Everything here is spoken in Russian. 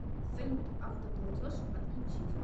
салют автоплатеж отключить